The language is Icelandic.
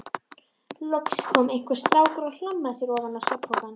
Loks kom einhver strákur og hlammaði sér ofan á svefnpokann.